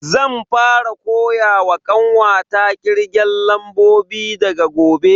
Zan fara koyawa kanwata kirgen lambobi daga gobe.